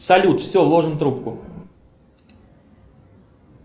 салют все ложим трубку